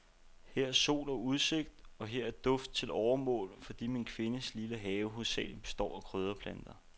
Her er sol og udsigt, og her er duft til overmål, fordi min kvindes lille have hovedsagelig består af krydderplanter.